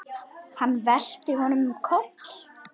Hann velti honum um koll.